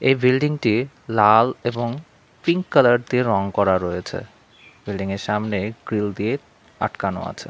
এই বিল্ডিং -টি লাল এবং পিঙ্ক কালার দিয়ে রং করা রয়েছে বিল্ডিং -এর সামনে গ্রিল দিয়ে আটকানো আছে।